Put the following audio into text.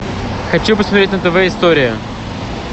хочу посмотреть на тв история